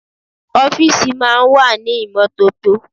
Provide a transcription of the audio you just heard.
Ọ́fíìsì máa ń wà ní ìmọ́tótó.